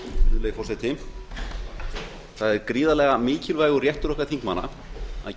virðulegi forseti það er gríðarlega mikilvægur réttur okkar þingmanna að